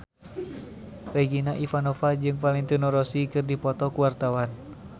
Regina Ivanova jeung Valentino Rossi keur dipoto ku wartawan